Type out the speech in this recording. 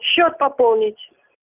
счёт пополнить